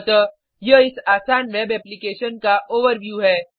अतः यह इस आसान वेब एप्लीकेशन का ओवरव्यू है